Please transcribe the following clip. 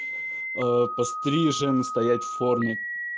аа пострижен стоять в форме